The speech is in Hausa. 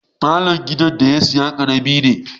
Falon gidan da ya saya karami ne.